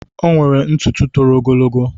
Ọ nwere ntụtụ tòrò ogologo.